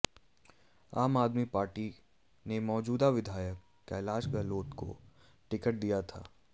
आम आदमी पार्टी ने मौजूदा विधायक कैलाश गहलोत को टिकट दिया था